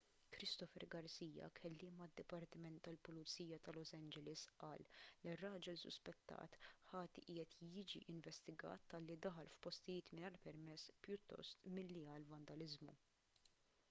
christopher garcia kelliem għad-dipartiment tal-pulizija ta' los angeles qal li r-raġel suspettat ħati qiegħed jiġi investigat talli daħal f'postijiet mingħajr permess pjuttost milli għal vandaliżmu